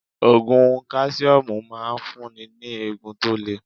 Ògùn káṣíọ́mù ń máa ń fún ni ní eegun tó le.